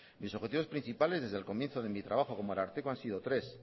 mis objetivos principales desde el comienzo de mi trabajo como ararteko han sido tres